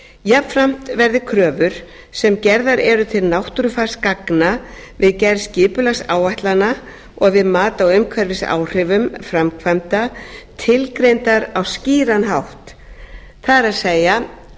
jafnframt verði kröfur sem gerðar eru til náttúrufarsgagna við gerð skipulagsáætlana og við mat á umhverfisáhrifum framkvæmda tilgreindar á skýran hátt það er